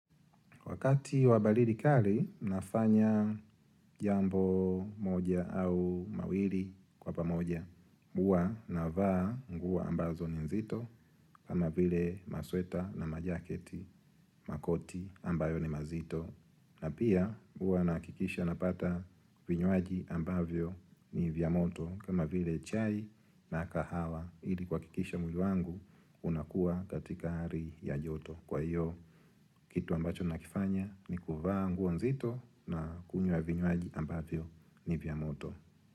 Wakati wa balidi kali, nafanya jambo moja au mawili kwa pamoja. Huwa navaa nguo ambazo ni nzito kama vile masweta na majaketi makoti ambayo ni mazito na pia huwa nahakikisha napata vinywaji ambavyo ni vya moto kama vile chai na kahawa ili kuhakikisha mwili wangu unakua katika hali ya joto. Kwa hiyo kitu ambacho nakifanya ni kuvaa nguo nzito na kunywa vinywaji ambavyo ni vya moto.